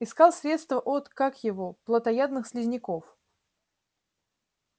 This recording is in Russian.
искал средство от как его плотоядных слизняков